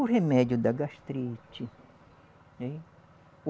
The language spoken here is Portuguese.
O remédio da gastrite, né o